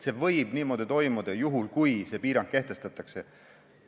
See võib niimoodi toimuda, juhul kui see piirang kehtestatakse.